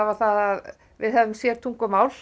það að við höfðum sér tungumál